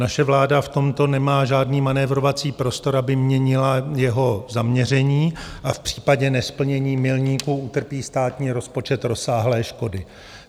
Naše vláda v tomto nemá žádný manévrovací prostor, aby měnila jeho zaměření, a v případě nesplnění milníků utrpí státní rozpočet rozsáhlé škody.